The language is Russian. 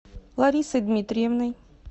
ларисой дмитриевной